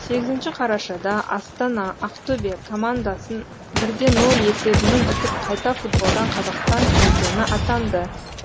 сегізінші қарашада астана ақтөбе командасын бір де нөл есебімен ұтып қайта футболдан қазақстан чемпионы атаңды